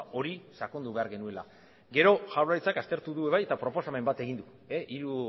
hori sakondu behar genuela gero jaurlaritzak aztertu du ere bai eta proposamen bat egin du hiru